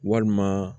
Walima